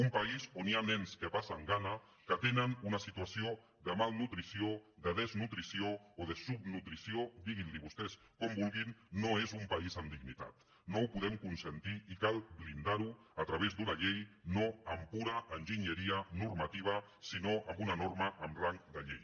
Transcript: un país on hi ha nens que passen gana que tenen una situació de malnutrició de desnutrició o de subnutrició diguin li vostès com vulguin no és un país amb dignitat no ho podem consentir i cal blindar ho a través d’una llei no amb pura enginyeria normativa sinó amb una norma amb rang de llei